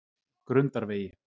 Grundarvegi